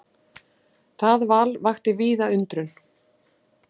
Það val vakti víða undrun.